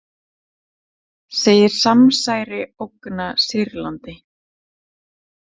Segir samsæri ógna Sýrlandi